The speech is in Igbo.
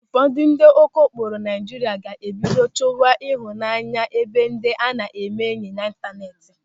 Ụfọdụ ndị okokporo Naịjirịa ga-ebido chọwa ịhụnanya ebe ndị a na-eme enyị n'ịntaneti.